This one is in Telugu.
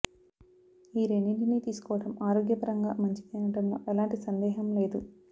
ఈ రెండింటిని తీసుకోవడం ఆరోగ్యపరంగా మంచిదే అనడంలో ఎలాంటి సందేహం లేదు